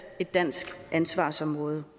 et dansk ansvarsområde